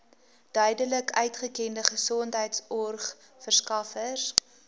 duidelik uitgekende gesondheidsorgverskaffers